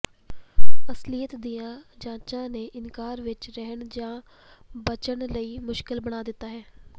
ਅਸਲੀਅਤ ਦੀਆਂ ਜਾਂਚਾਂ ਨੇ ਇਨਕਾਰ ਵਿਚ ਰਹਿਣ ਜਾਂ ਬਚਣ ਲਈ ਮੁਸ਼ਕਿਲ ਬਣਾ ਦਿੱਤਾ ਹੈ